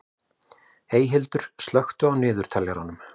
Eyhildur, slökktu á niðurteljaranum.